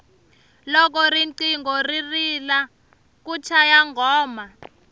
loko riqingho ri rila ku chaya nghoma